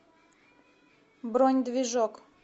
бронь движок